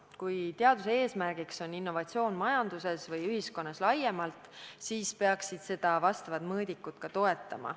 Kui teaduse eesmärk on innovatsioon majanduses või ühiskonnas laiemalt, siis peaksid seda vastavad mõõdikud ka toetama.